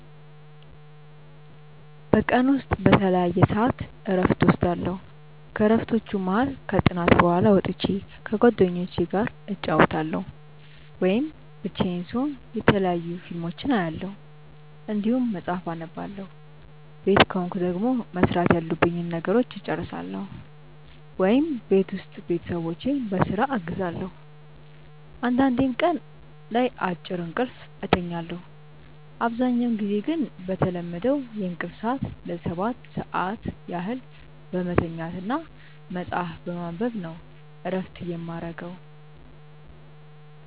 በቀን ውስጥ በተለያየ ሰዐት እረፍት እወስዳለሁ። ከእረፍቶቹም መሀል ከጥናት በኋላ ወጥቼ ከጓደኞቹ ጋር እጫወታለሁ ወይም ብቻዬን ስሆን የተለያዩ ፊልሞችን አያለሁ እንዲሁም መጽሐፍ አነባለሁ ቤት ከሆንኩ ደግሞ መስራት ያሉብኝን ነገሮች እጨርሳለሁ ወይም ቤት ውስጥ ቤተሰቦቼን በስራ አግዛለሁ አንዳንዴም ቀን ላይ አጭር እንቅልፍ እተኛለሁ። አብዛኛውን ጊዜ ግን በተለመደው የእንቅልፍ ሰዐት ለ7 ሰዓት ያህል በመተኛት እና መጽሀፍ በማንበብ ነው እረፍት የማረገው።